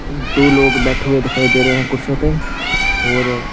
दो लोग बैठे हुए दिखाई दे रहे हैं कुर्सियों पे और--